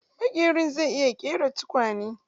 Maƙerin zai iya ƙera tukunya?